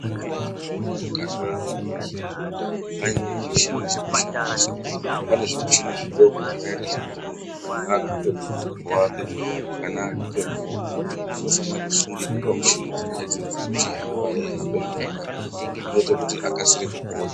Zvakanaka kuti muntu kana arapwa zviya anyimwe michini dzekushandisa pane zvimuchini zvidoko zvakaita sekuti muntu kana aguke mukumbo wake kana aguke muoko unosana kusungira pamuchini dzona idzodzo ochihambe eihamba zvakanaka zvinoite kuti akasire kupona.